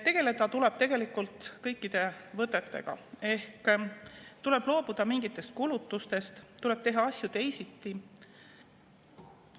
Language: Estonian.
Tegeleda tuleb tegelikult kõikide võtetega ehk tuleb loobuda mingitest kulutustest, tuleb teha asju teisiti.